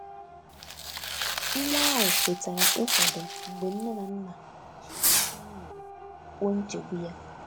Nwa ahụ kwetara ịkwado mgbe nne na nna jiri nkwanye ùgwù kwuo nchegbu ya.